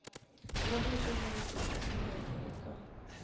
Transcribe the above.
ra rito leri tikisiweke eka